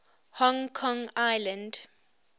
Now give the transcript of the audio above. hong kong island